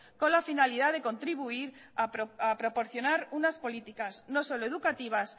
con la finalidad de contribuir a proporcionar unas políticas no solo educativas